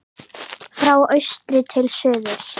Frá austri til suðurs